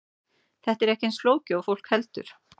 Þetta er ekki eins flókið og fólk heldur.